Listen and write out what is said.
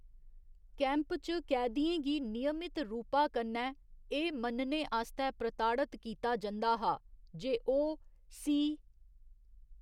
Camp च कैदियें गी नियमत रूपा कन्नै एह्‌‌ मन्नने आस्तै प्रताड़त कीता जंदा हा जे ओह्‌‌ सी.